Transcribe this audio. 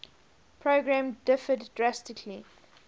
program differed drastically